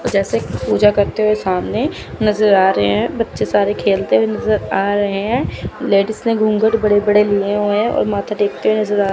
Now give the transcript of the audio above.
जैसे कि पूजा करते हुए सामने नज़र आ रहे हैं। बच्चे सारे खेलते हैं नज़र आ रहे हैं। लेडिस ने घूंघट बड़े-बड़े लिए हुए हैं और माथा टेकते नज़र आ रहे --